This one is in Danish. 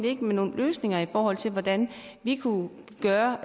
ikke med nogen løsninger i forhold til hvordan vi kunne gøre